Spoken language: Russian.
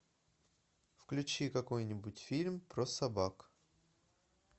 включи какой нибудь фильм про собак